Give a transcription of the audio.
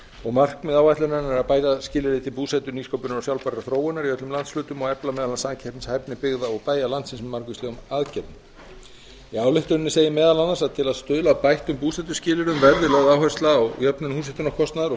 og markmið áætlunarinnar er bæði skilyrði til búsetu nýsköpunar og sjálfbærrar þróunar í öllum landshlutum og efla meðal annars samkeppnishæfni byggða og bæja landsins með margvíslegum aðgerðum í ályktuninni segir meðal annars að til að stuðla að bættum búsetuskilyrðum verði lögð áhersla á jöfnun húshitunarkostnaðar og